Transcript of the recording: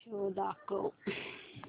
show दाखव